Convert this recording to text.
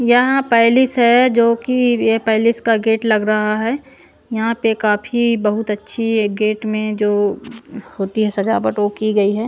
यहाँ पैलेस है जोकि ये पैलेस का गेट लग रहा है यहाँ पे काफी बहुत अच्छी गेट में जो होती है सजावट वो की गई है।